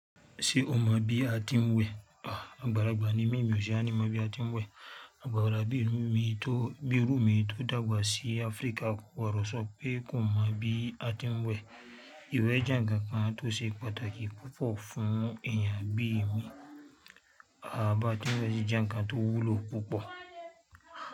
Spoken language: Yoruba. Ṣé o mọ bí a ti ń wẹ̀? Àgbàlagbà ni mí, mi ò ṣe àní mọ bí a ti ń wẹ̀. Àgbàlagbà bí mi tó, bí irú mi tó dàgbà sí Áfíríkà ko gbodo so pe kò mọ bí a ti ń wẹ̀. Ìwẹ̀ jẹ́ ǹnkan kan tó ṣe pàtàkì púpọ̀ fún èèyàn bíi mi. A bá ti ń we si je nǹkan tó wúlò púpọ̀